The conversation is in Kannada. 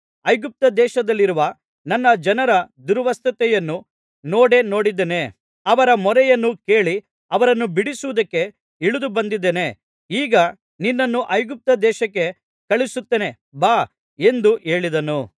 ಐಗುಪ್ತದೇಶದಲ್ಲಿರುವ ನನ್ನ ಜನರ ದುರವಸ್ಥೆಯನ್ನು ನೋಡೇ ನೋಡಿದ್ದೇನೆ ಅವರ ಮೊರೆಯನ್ನು ಕೇಳಿ ಅವರನ್ನು ಬಿಡಿಸುವುದಕ್ಕೆ ಇಳಿದುಬಂದಿದ್ದೇನೆ ಈಗ ನಿನ್ನನ್ನು ಐಗುಪ್ತದೇಶಕ್ಕೆ ಕಳುಹಿಸುತ್ತೇನೆ ಬಾ ಎಂದು ಹೇಳಿದನು